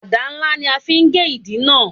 Àdá ńlá ni a ó fi gé ìdí náà